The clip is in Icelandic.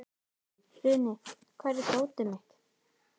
Funi, hvar er dótið mitt?